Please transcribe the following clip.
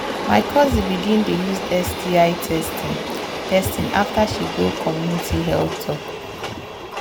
my cousin begin dey use sti testing testing after she go community health talk.